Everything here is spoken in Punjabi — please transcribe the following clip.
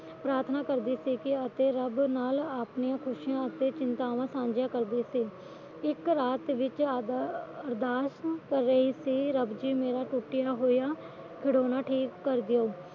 ਪ੍ਰਾਥਨਾ ਕਰਦੀ ਸੀ ਅਤੇ ਰੱਬ ਨਾਲ ਨਾਲ ਆਪਣੀਆਂ ਚਿੰਤਾਵਾਂ ਸਾਝੀਆਂ ਕਰਦੀ ਇੱਕ ਰਾਤ ਵਿੱਚ ਅਰਦਾਸ ਕਰ ਰਹੀ ਸੀ ਰੱਬ ਜੀ ਮੇਰਾ ਟੁਟਿਆ ਹੋਇਆ ਖਿਡੋਣਾ ਠੀਕ ਕਰ ਦਿਓ